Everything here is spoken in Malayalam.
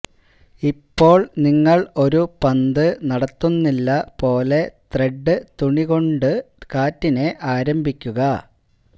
ഇപ്പോൾ നിങ്ങൾ ഒരു പന്ത് നടത്തുന്നില്ല പോലെ ത്രെഡ് തുണികൊണ്ടു കാറ്റിനെ ആരംഭിക്കുക